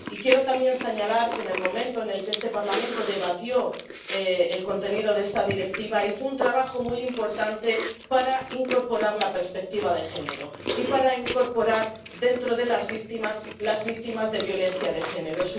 Y quiero también señalar que, en el momento en el que este Parlamento debatió el contenido de esta Directiva, hizo un trabajo muy importante para incorporar la perspectiva de género y para incorporar dentro de las víctimas a las víctimas de la violencia de género.